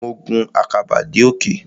Mo gun àkàbà dé òkè.